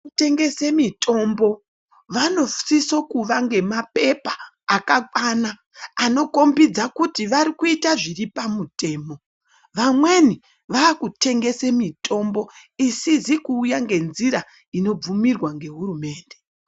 Vanotengese mitombo vanosise kuvawo nelgemapepa akakwana anokombidza kuti varikuita zviri pamutemo vanweni vava kutengesa mutombo isiszi kuuya ngenjira iri kubvumirwa nehurumende.